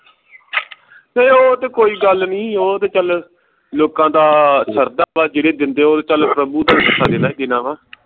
ਫਿਰ ਉਹ ਤੇ ਕੋਈ ਗੱਲ ਨੀ ਉਹ ਤੇ ਚੱਲ ਲੋਕਾਂ ਦਾ ਸਰਦਾ ਵਾ ਜਿਹੜੇ ਦਿੰਦੇ ਉਹ ਤੇ ਚੱਲ ਪ੍ਰਭੂ ਦਾ ਹਿੱਸਾ ਜਿੰਨਾ ਵਾ